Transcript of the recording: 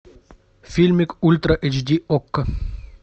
фильмик ультра эйч ди окко